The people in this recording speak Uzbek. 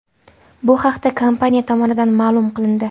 Bu haqda kompaniya tomonidan ma’lum qilindi .